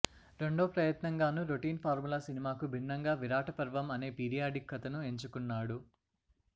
రెండో ప్రయత్నంగానూ routine formula సినిమాకు భిన్నంగా విరాటపర్వం అనే పీరియాడిక్ కథను ఎంచుకున్నాడు